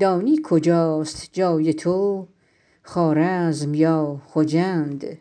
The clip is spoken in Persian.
دانی کجاست جای تو خوارزم یا خجند